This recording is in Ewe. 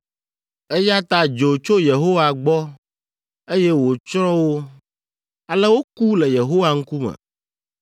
eya ta dzo tso Yehowa gbɔ, eye wòtsrɔ̃ wo; ale woku le Yehowa ŋkume.